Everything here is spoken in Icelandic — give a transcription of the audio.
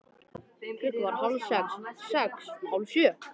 Klukkan varð hálf sex. sex. hálf sjö.